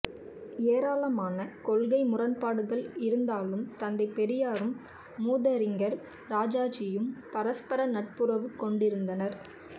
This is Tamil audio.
ஏராளமான கொள்கை முரண்பாடுகள் இருந்தாலும் தந்தை பெரியாரும் மூதறிஞர் ராஜாஜியும் பரஸ்பர நட்புறவு கொண்டிருந்தனர்